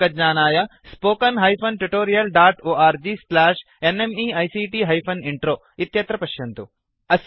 अधिकज्ञानाय spoken hyphen tutorial dot org slash NMEICT hyphen intro अत्र पश्यन्तु